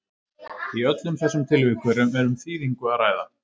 í öllum þessum tilvikum er um þýðingu að ræða